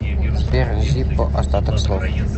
сбер зиппо остаток слов